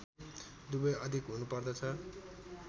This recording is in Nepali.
दुवै अधिक हुनु पर्दछ